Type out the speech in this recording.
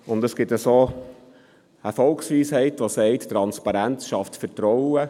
Es gibt eine Volksweisheit, welche besagt, Transparenz schaffe Vertrauen.